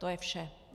To je vše.